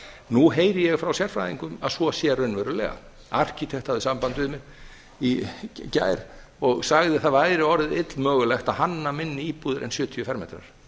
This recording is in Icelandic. nú heyri ég frá sérfræðingum að svo sé raunverulega arkitekt hafði samband við mig í gær og sagði að það væri orðið illmögulegt að hanna minni íbúðir en sjötíu fermetra